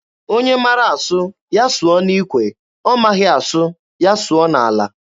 Onye mara asụ, ya sụọ n'ikwe, ọ maghị asụ, ya sụọ n'ala.